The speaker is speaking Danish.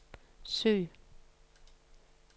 søg